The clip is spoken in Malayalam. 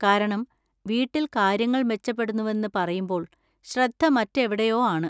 കാരണം, വീട്ടിൽ കാര്യങ്ങൾ മെച്ചപ്പെടുന്നുവെന്ന് പറയുമ്പോള്‍ ശ്രദ്ധ മറ്റെവിടെയോ ആണ്.